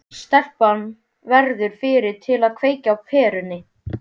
Stelpan verður fyrri til að kveikja á perunni.